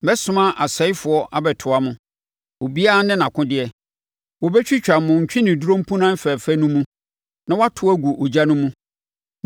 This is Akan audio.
Mɛsoma asɛefoɔ abɛtoa mo, obiara ne nʼakodeɛ, wɔbɛtwitwa mo ntweneduro mpunan fɛfɛ no mu na wɔato agu ogya no mu.